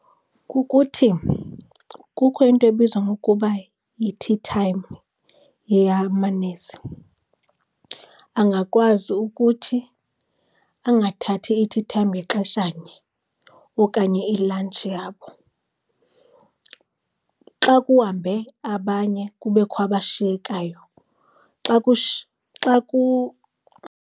Kukuthi kukho into ebizwa ngokuba yi-tea time eyamanesi, angakwazi ukuthi angathathi i-tea time ngexeshanye okanye i-lunch yabo. Xa kuhambe abanye kubekho abashiyekayo. Xa